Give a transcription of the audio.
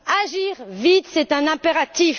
Agir vite est un impératif!